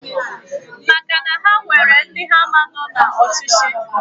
Maka na ha nwere ndi ha ama no na ochichi...